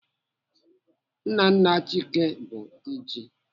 Nna nna Chike bụ Diji.